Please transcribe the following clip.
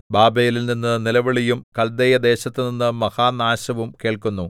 ബാബേലിൽനിന്ന് നിലവിളിയും കല്ദയദേശത്തുനിന്ന് മഹാനാശവും കേൾക്കുന്നു